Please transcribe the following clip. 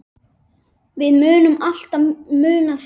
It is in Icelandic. Við munum alltaf muna þig.